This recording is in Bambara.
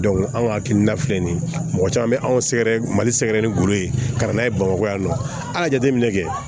anw ka hakilina filɛ nin ye mɔgɔ caman be anw sɛgɛrɛ mali sɛgɛrɛ ni golo ye ka na n'a ye bamakɔ yan nɔ an ka jateminɛ kɛ